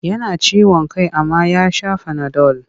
Yana ciwon kai amma ya sa fanadol.